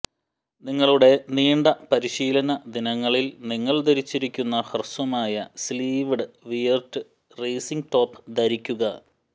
നിങ്ങളുടെ നീണ്ട പരിശീലന ദിനങ്ങളിൽ നിങ്ങൾ ധരിച്ചിരിക്കുന്ന ഹ്രസ്വമായി സ്ലീവ്ഡ് വിയർറ്റ് റേസിംഗ് ടോപ്പ് ധരിക്കുക